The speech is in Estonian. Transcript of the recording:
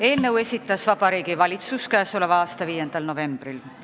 Eelnõu esitas Vabariigi Valitsus tänavu 5. novembril.